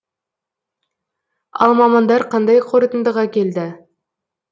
ал мамандар қандай қорытындыға келді